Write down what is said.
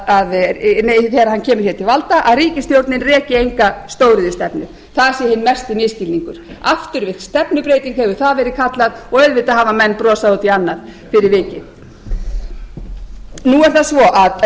kemur hér til valda að ríkisstjórnin reki enga stóriðjustefnu það sé hinn mesti misskilningur afturvirk stefnubreyting hefur það verið kallað og auðvitað hafa menn brosað út í annað fyrir vikið nú